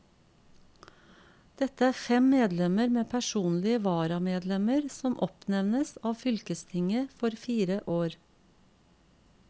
Dette er fem medlemmer med personlige varamedlemmer som oppnevnes av fylkestinget for fire år.